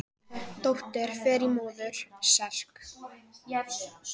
þetta er þrálátur nýrnasjúkdómur og getur þróast í áratugi